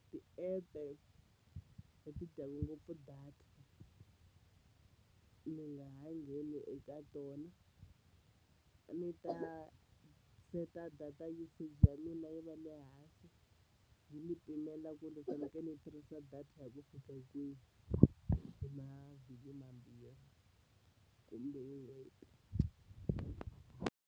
Ti-app-e leti dyaka ngopfu data mi nga ha ngheni eka tona a ni ta seta data usage ya mina yi va le hansi yi ni pimela ku ri ni fanekele ni tirhisa data hi ku fika kwihi hi mavhiki mambirhi kumbe n'hweti.